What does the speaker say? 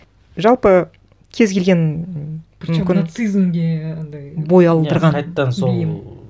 жалпы кез келген м причем нацизмге андай бой алдырған иә қайтадан сол бейім